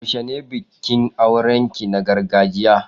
Yaushe ne bikin auren ki na gargajiya?